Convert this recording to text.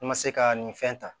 I ma se ka nin fɛn ta